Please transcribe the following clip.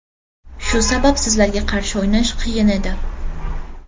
Shu sabab sizlarga qarshi o‘ynash qiyin edi.